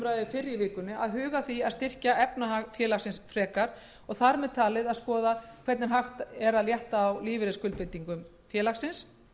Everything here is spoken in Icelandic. huga að því að styrkja efnahag félagsins frekar og þar með talið að skoða hvernig hægt er að létta á lífeyrisskuldbindingum félagsins